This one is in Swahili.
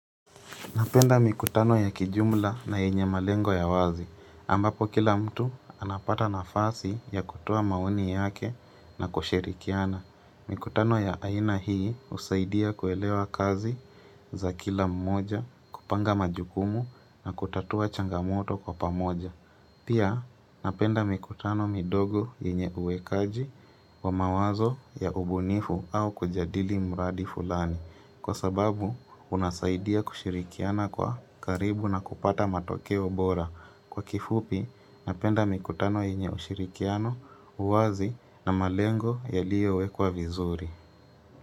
Napenda mikutano ya kijumla na yenye malengo ya wazi, ambapo kila mtu anapata nafasi ya kutoa maoni yake na kushirikiana. Mikutano ya aina hii husaidia kuelewa kazi za kila mmoja kupanga majukumu na kutatua changamoto kwa pamoja. Pia napenda mikutano midogo yenye uwekaji wa mawazo ya ubunifu au kujadili muradi fulani Kwa sababu unasaidia kushirikiana kwa karibu na kupata matokeo bora Kwa kifupi napenda mikutano yenye ushirikiano uwazi na malengo yaliyo wekwa vizuri.